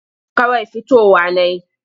Kawai fitowa na yi.